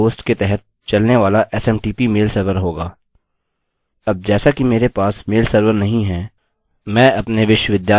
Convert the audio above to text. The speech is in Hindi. तथा आपके पास लोकल हॉस्ट के तहत चलने वाला smtp मेल सर्वर होगा